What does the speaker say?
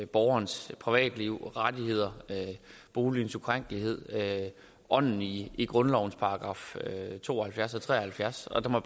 borgerens privatliv rettigheder boligens ukrænkelighed og ånden i grundlovens § to og halvfjerds og 73 og der må